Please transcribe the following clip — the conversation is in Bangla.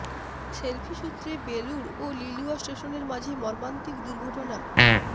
সেলফি সূত্রে বেলুড় ও লিলুয়া স্টেশনের মাঝে মর্মান্তিক দুর্ঘটনা